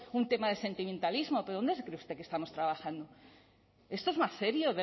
un tema de sentimentalismo pero dónde se cree usted que estamos trabajando esto es más serio